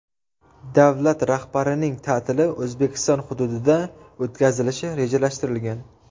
Davlat rahbarining ta’tili O‘zbekiston hududida o‘tkazilishi rejalashtirilgan.